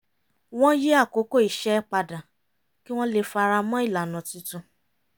wọ́n yí àkókò iṣẹ́ padà kí wọ́n lè fi ara mọ ilànà tuntun